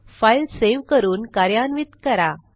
file save करून कार्यान्वित करा